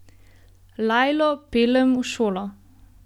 Lajlo peljem v šolo.